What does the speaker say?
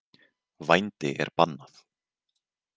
Vændi er bannað.